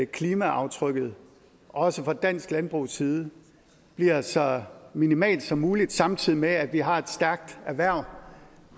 klimaaftrykket også fra dansk landbrugs side bliver så minimalt som muligt samtidig med at vi har et stærkt erhverv